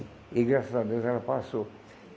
E graças a Deus ela passou.